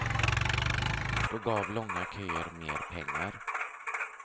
Då gav långa köer mer pengar.